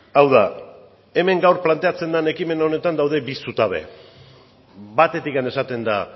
hau da gaur hemen planteatzen den ekimen honetan bi zutabe daude batetik esaten da